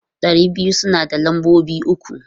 Ɗari biyu suna da lambobi uku.